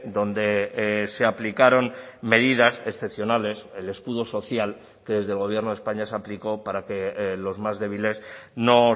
donde se aplicaron medidas excepcionales el escudo social que desde el gobierno de españa se aplicó para que los más débiles no